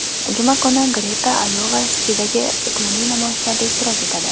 Juma kuni Greta Ayova-Sitidagi iqlimiy namoyishlarda ishtirok etadi.